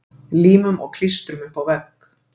Límum og klístrum upp á vegg.